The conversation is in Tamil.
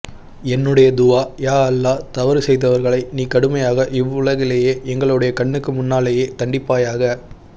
என்னுடைய துஆ யாஅல்லாஹ தவறு செய்தவர்களை நீ கடுமையாக இவ்வுலகிலேயே எங்களுடைய கண்ணனுக்கு முன்னாலையே தண்டிபாயாக